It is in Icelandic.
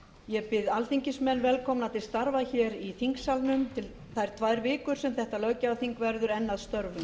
ég býð alþingismenn velkomna til starfa hér í þingsalnum þær tvær vikur sem þetta löggjafarþing verður enn að störfum